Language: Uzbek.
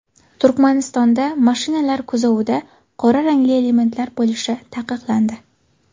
Turkmanistonda mashinalar kuzovida qora rangli elementlar bo‘lishi taqiqlandi.